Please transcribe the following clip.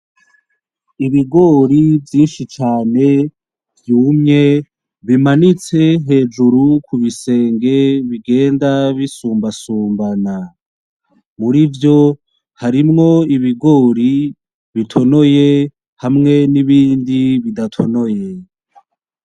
Ibigori vyinshi cane vyumye bimanitse hejuru kurusenge bigenda bisumbasumbana, mur'ivyo harimwo ibigori bitonoye hamwe n'ibindi bidatonoye.